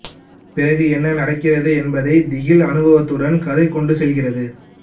பிறகு என்ன நடக்கிறது என்பதை திகில் அனுபவத்துடன் கதை கொண்டு செல்கிறது